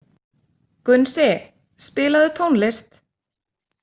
Gunnsi, spilaðu tónlist.